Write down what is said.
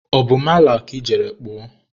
ọ bụ mala ka ị jere kpụọ?